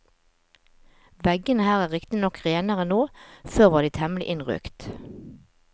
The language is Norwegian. Veggene her er riktignok renere nå, før var de temmelig innrøkt.